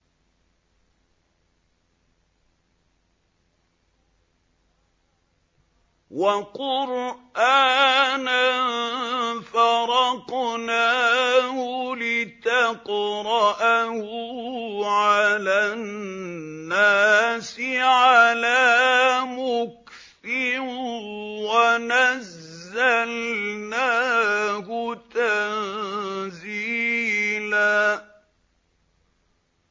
وَقُرْآنًا فَرَقْنَاهُ لِتَقْرَأَهُ عَلَى النَّاسِ عَلَىٰ مُكْثٍ وَنَزَّلْنَاهُ تَنزِيلًا